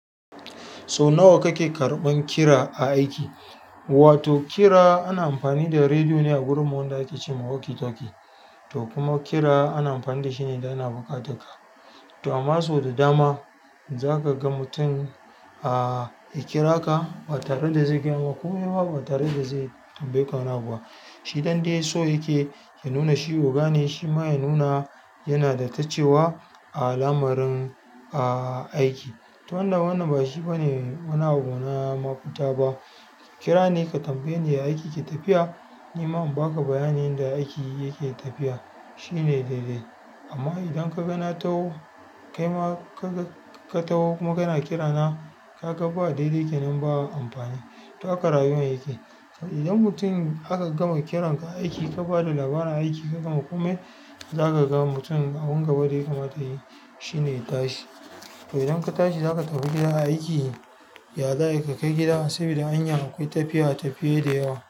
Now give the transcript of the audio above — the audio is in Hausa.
So nawa kake karɓan kira a aiki? Wato kira ana amfani da radio ne a wurin mu wa inda ake cema haukitalkie to kuma kira ana amfani da shi ne idan ana buƙatar ka. To amma so da dama za ka ga mutum a ya kira ka ba tare da zai gyama komai ba ba tare da zai tambaye ka wani abu ba. Shi ɗande so yake ya nuna shi oga ne shima ya nuna yanada tacewa a al'amarin aiki to wanda wannan ba shi bane wani abuna mafita ba. Kira ne ka tambaye ni ya aiki ke tafiya. Ni ma in baka bayanin yanda aiki yake tafiya shine daidai. Amma idan ka ga na taho kai ma ka taho kuma kana kirana ka ga ba daidai kenan ba amfani. To aka rayuwan aiki. Idan mutum aka gama kiran ka aiki ka bada labarin aiki ka gama komai zaka ga mutum abin gaba ɗaya kamata yayi shine tashi. To idan ka tashi zaka tafi gida aiki ya za a yi ka kai gida sabida hanyan akwai tafiya tafiya da yawa.